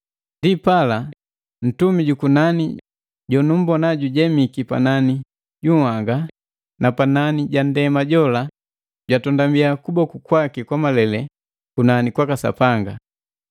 Ndipala, ntumi jukunani jonumbona jujemiki panani junhanga na panani ja ndema jola jwatondabia kuboku kwaki kwa malele kunani kwaka Sapanga,